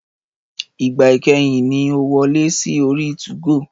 Ìgbà ìkẹyìn ni o wọlé sí orí 2go